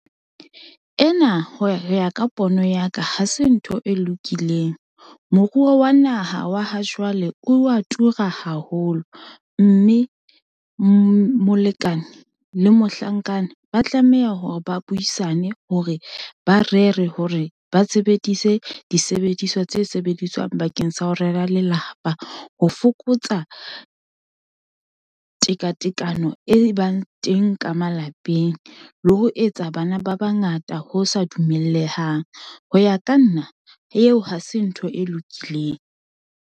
Ena ho ya ka pono ya ka, ha se ntho e lokileng. Moruo wa naha wa ha jwale o wa tura haholo, mme molekane le mohlankana, ba tlameha hore ba buisane hore, ba rere hore ba sebedise disebediswa tse sebediswang bakeng sa ho rera lelapa, ho fokotsa tekatekano e bang teng ka malapeng, le ho etsa bana ba bangata ho sa dumellehang. Ho ya ka nna, eo ha se ntho e lokileng.